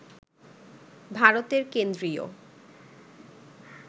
ভারতের কেন্দ্রীয়